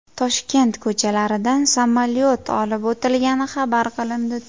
Toshkent ko‘chalaridan samolyot olib o‘tilgani xabar qilindi .